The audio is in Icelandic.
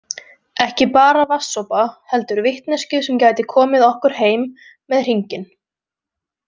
Ekki bara vatnssopa heldur vitneskju sem gæti komið okkur heim með hringinn